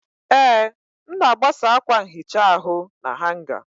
Ee, m na-agbasa akwa nhicha ahụ na hanga.